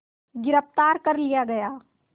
गिरफ़्तार कर लिया गया